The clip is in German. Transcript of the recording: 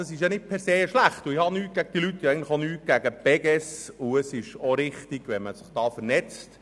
Das ist nicht per se schlecht, und ich habe auch weder gegen diese Leute noch gegen die Beges etwas.